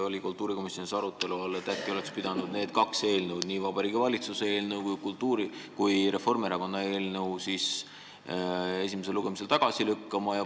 Kas kultuurikomisjonis oli arutelu all, et äkki oleks pidanud need kaks eelnõu – nii Vabariigi Valitsuse eelnõu kui ka Reformierakonna eelnõu – esimesel lugemisel tagasi lükkama?